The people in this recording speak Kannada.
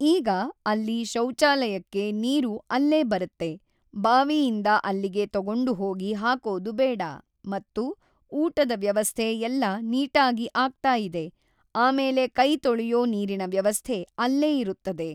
ಈಗ ಅಲ್ಲಿ ಶೌಚಾಲಯಕ್ಕೆ ನೀರು ಅಲ್ಲೇ ಬರತ್ತೆ ಬಾವಿಯಿಂದ ಅಲ್ಲಿಗೆ ತಗೊಂಡು ಹೋಗಿ ಹಾಕೋದು ಬೇಡ ಮತ್ತು ಊಟದ ವ್ಯವಸ್ಥೆ ಎಲ್ಲ ನೀಟಾಗಿ ಆಗ್ತಾ ಇದೆ ಆಮೇಲೆ ಕೈ ತೊಳೆಯೋ ನೀರಿನ ವ್ಯವಸ್ಥೆ ಅಲ್ಲೇ ಇರುತ್ತದೆ.